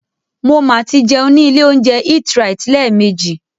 Mo ma tí jẹun ní ilé óúnjẹ EatRite lẹ́ẹ̀mejì.